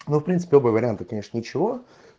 ну в принципе вариант ничего